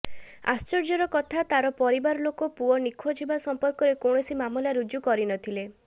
ଆଶ୍ଚର୍ଯ୍ୟର କଥା ତାର ପରିବାର ଲୋକ ପୁଅ ନିଖୋଜ ହେବା ସମ୍ପର୍କରେ କୌଣସି ମାମଲା ରୁଜୁ କରି ନଥିଲେ